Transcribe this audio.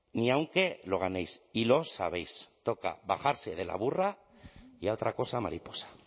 ni aunque lo ganéis y lo sabéis toca bajarse de la burra y a otra cosa mariposa